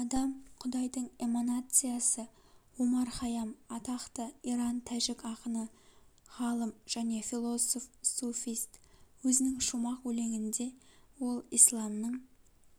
адам құдайдың эманациясы омар хайам атақты иран-тәжік ақыны ғалым және философ-суфист өзінің шумақ өлеңінде ол исламның